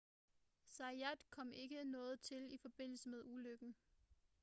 zayat kom ikke noget til i forbindelse med ulykken